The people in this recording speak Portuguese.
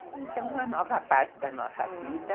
Então, uma nova fase da nossa vida.